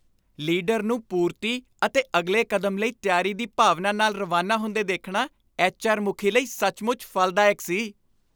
Leader ਨੂੰ ਪੂਰਤੀ ਅਤੇ ਅਗਲੇ ਕਦਮ ਲਈ ਤਿਆਰੀ ਦੀ ਭਾਵਨਾ ਨਾਲ ਰਵਾਨਾ ਹੁੰਦੇ ਦੇਖਣਾ ਐਚ.ਆਰ. ਮੁਖੀ ਲਈ ਸੱਚਮੁੱਚ ਫਲਦਾਇਕ ਸੀ।